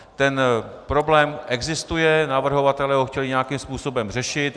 Ten problém existuje, navrhovatelé ho chtěli nějakým způsobem řešit.